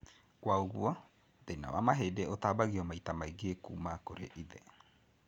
Kwaũguo, thĩna wa mahĩndĩ ũtambanagio maita maingĩ kuma kũrĩ ithe